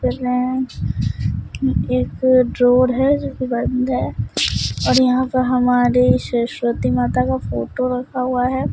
जिसमें एक डोर है जो बंद है और यहां पर हमारे सरस्वती माता के फोटो रखा हुए हैं।